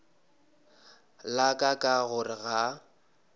la ka ka gore ga